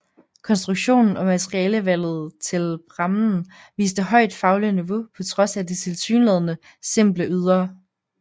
Konstruktionen og materialevalget til prammen viste højt fagligt niveau på trods af det tilsyneladende simple ydre